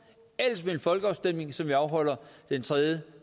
eller ved en folkeafstemning som afholdes den tredje